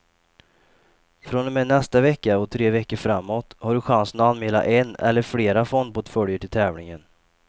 Från och med nästa vecka och tre veckor framåt har du chansen att anmäla en eller flera fondportföljer till tävlingen.